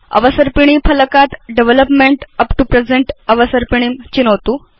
अवसर्पिणी फलकात् development up to present अवसर्पिणीं चिनोतु